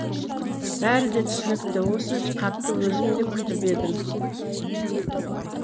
бәрі де түсінікті осы хатты өзім де күтіп едім